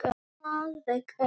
Alveg eins!